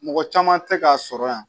Mɔgɔ caman tɛ k'a sɔrɔ yan